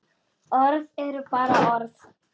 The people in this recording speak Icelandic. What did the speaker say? Orð eru bara orð.